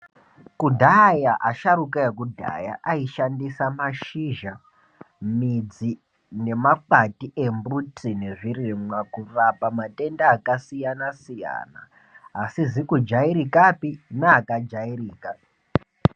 Kudhaya, asharukwa ekudhaya aishandisa mashizha, midzi nemakwati embuti nezvirimwa kurapa matenda akasiyana-siyana asizikujairikapi naakajairika.